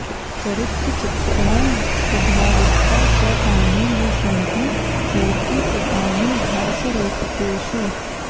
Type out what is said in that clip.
चरित्रचित्रणं स्वाभाविकता च तानि हि सन्ति मूर्तीकृतानि भासरूपकेषु